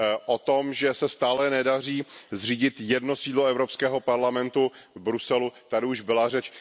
O tom, že se stále nedaří zřídit jedno sídlo Evropského parlamentu v Bruselu, tady už byla řeč.